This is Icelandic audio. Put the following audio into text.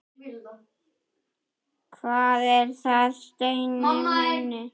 Hvað er það, Steini minn?